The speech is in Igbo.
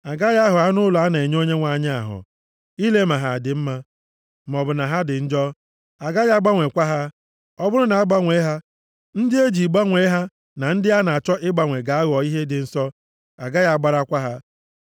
A gaghị ahọ anụ ụlọ a na-enye Onyenwe anyị ahọ, ile ma ha dị mma, maọbụ na ha dị njọ. A gaghị agbanwekwa ha. Ọ bụrụ na a gbanwee ha, ndị e ji gbanwee ha na ndị a na-achọ ịgbanwe ga-aghọ ihe dị nsọ, a gaghị agbarakwa ha.’ ”